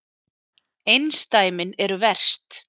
Einsdæmin eru verst.